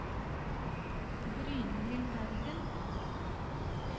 Brynhild Haugen